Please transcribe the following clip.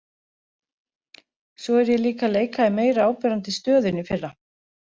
Svo er ég líka að leika í meira áberandi stöðu en í fyrra.